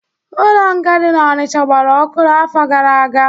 Ụlọ nga dị n'Onicha gbara ọkụ n'afọ gara aga